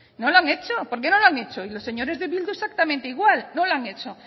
no lo han hecho por qué no lo han hecho y los señores de bildu exactamente igual no lo han hecho